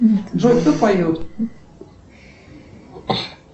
джой кто поет